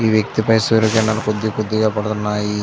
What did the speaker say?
ఈ వ్యక్తిపై సూర్యకిరణాలు కొద్దికొద్దిగా పడుతున్నాయి.